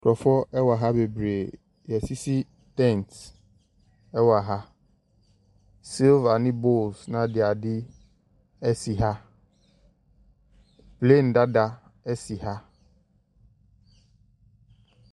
Nkurɔfoɔ wɔ ha bebree. Wɔasisi tent wɔ ha. Silver ne bowls ne adeade si ha. Plane dada si ha.